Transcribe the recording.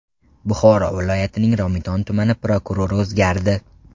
Buxoro viloyatining Romitan tumani prokurori o‘zgardi.